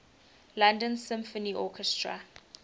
london symphony orchestra